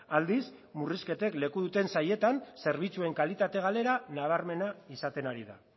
aldiz murrizketek leku duten sailetan zerbitzuen kalitate galera nabarmena izaten ari da